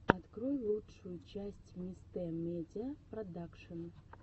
открой лучшую часть мистэ медиа продакшен